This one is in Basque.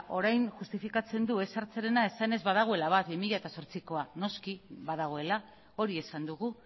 orain justifikatzen du ez sartzearena esanez badagoela bat bi mila zortzikoa noski badagoela hori esan dugu